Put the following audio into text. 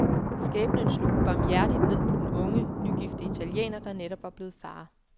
Skæbnen slog ubarmhjertigt ned på den unge, nygifte italiener, der netop var blevet far.